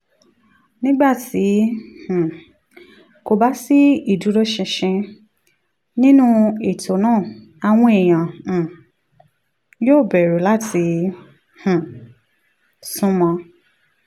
nígbà tí um kò bá sí ìdúróṣinṣin nínú ètò náà àwọn èèyàn um yóò bẹ̀rù láti um sún mọ́